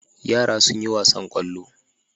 Yara sun yi wasan ƙwallo.